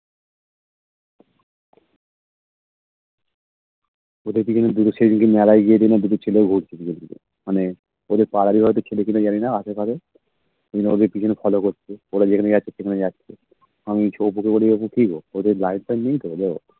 সেদিন মেলায় গিয়েছিল মানে ওদের পাড়ারই হয়তো ছেলে কিনা জানিনা ওদের Follow করছে ওরা যেখানে যাচ্ছে সেখানে যাচ্ছে আমি অপুকে বলি ও কিগো ওদের নেইত